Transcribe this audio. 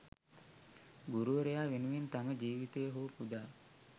ගුරුවරයා වෙනුවෙන් තම ජීවිතය හෝ පුදා